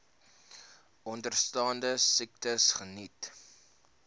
onderstaande siektes geniet